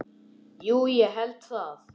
Jú, ég held það.